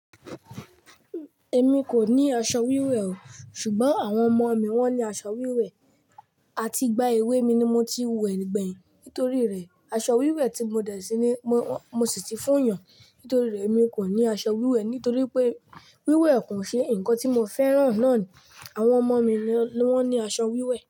Èmi kò ní aṣọ wíwẹ̀ o, ṣùgbọ́n àwọn ọmọ mi wọ́n ní aṣọ wíwẹ̀. Àti ìgbà èwe mi ni mo ti wẹ̀ gbẹ̀yìn. Nítorí rẹ̀, aṣọ wíwẹ̀ tí mo dẹ̀ síni mo sì ti fún èèyàn nítorí rẹ̀ mi kò ní aṣọ wíwẹ̀ nítorí pé wíwẹ̀ kò ṣe ǹkan tí mo fẹ́ràn náà ni. Àwọn ọmọ mi ló ní aṣọ wíwẹ̀